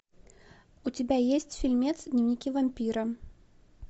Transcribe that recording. у тебя есть фильмец дневники вампира